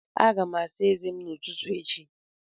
Aga m asa eze m n'ụtụtụ echi.